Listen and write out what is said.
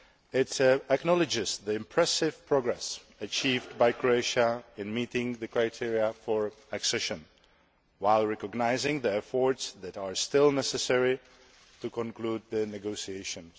It acknowledges the impressive progress achieved by Croatia in meeting the criteria for accession, while recognising the efforts that are still necessary to conclude the negotiations.